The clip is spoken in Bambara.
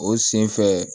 O sen fɛ